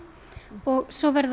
og svo verða